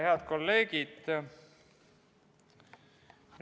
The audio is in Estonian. Head kolleegid!